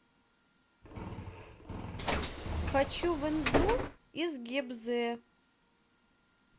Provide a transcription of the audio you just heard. хочу в инзу из гебзе